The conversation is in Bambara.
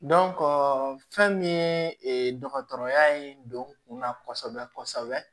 fɛn min ye dɔgɔtɔrɔya in don kunna kosɛbɛ kosɛbɛ